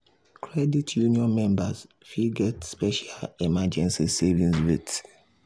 credit union members fit get special emergency savings rate.